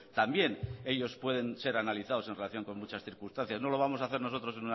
también ellos pueden ser analizados en relación con muchas circunstancias no lo vamos a hacer nosotros